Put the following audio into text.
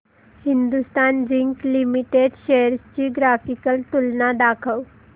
Hindustan zinc limited shares ची graphical तुलना दाखव